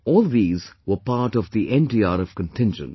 All these were part of the NDRF contingent